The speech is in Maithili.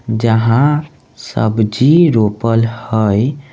जहाँ सब्जी रोपल हई।